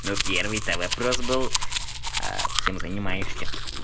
ну первый то вопрос был а чем занимаешься